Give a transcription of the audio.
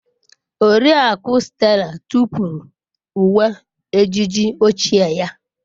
Oriakụ Stella tụpụrụ uwe ejiji ochie ya.